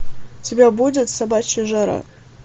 у тебя будет собачья жара